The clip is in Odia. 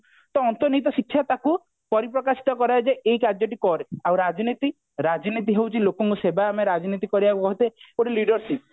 ତ ଅନ୍ତର୍ନିହିତ ଶିକ୍ଷା ତାକୁ ପରିପ୍ରକାଶିତ କରାଏ ଯେ ଏଇ କାର୍ଯ୍ୟ ଟି କରେ ଆଉ ରାଜନୀତି ରାଜନୀତି ହଉଛି ଲୋକଙ୍କ ସେବା ଆମେ ରାଜନୀତି କରିବାକୁ କହତେ ଗୋଟେ leadership